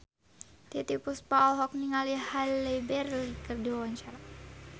Titiek Puspa olohok ningali Halle Berry keur diwawancara